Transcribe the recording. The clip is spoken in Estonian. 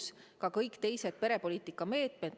See puudutab ka kõiki teisi perepoliitika meetmeid.